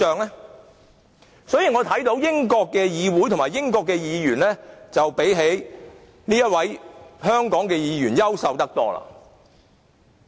由此可見，英國國會議員比這位香港立法會議員優秀得多。